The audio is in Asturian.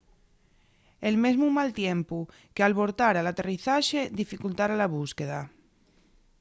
el mesmu mal tiempu qu’albortara l’aterrizaxe dificultara la búsqueda